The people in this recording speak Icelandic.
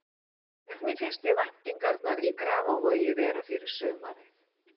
Hvernig finnst þér væntingarnar í Grafarvogi vera fyrir sumarið?